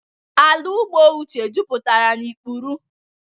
Ala ugbo Uche juputara na ikpuru.